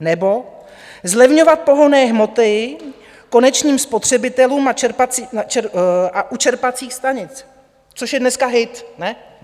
Nebo zlevňovat pohonné hmoty konečným spotřebitelům u čerpacích stanic, což je dneska hit, ne?